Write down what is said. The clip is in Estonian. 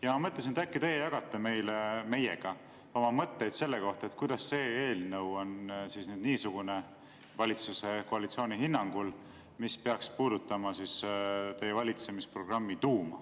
" Ja ma mõtlesin, et äkki teie jagate meiega oma mõtteid selle kohta, kuidas see eelnõu on nüüd niisugune – valitsuse, koalitsiooni hinnangul –, mis peaks puudutama teie valitsemisprogrammi tuuma.